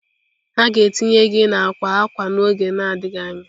The ga-etinye gị na akwa akwa n'oge adịghị anya.